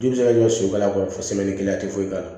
Du bɛ se ka jɔ soba kɔnɔ kelen a tɛ foyi k'a la